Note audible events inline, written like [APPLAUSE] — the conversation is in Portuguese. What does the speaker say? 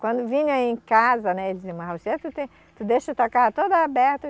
Quando vinha em casa, né, eles diziam, [UNINTELLIGIBLE] tu tem, tu deixa tua casa toda aberta.